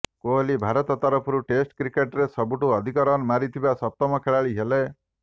କୋହଲୀ ଭାରତ ତରଫରୁ test cricket ରେ ସବୁଠୁ ଅଧିକ ରନ ମାରିଥିବା ସପ୍ତମ ଖେଳାଳି ହେଲେ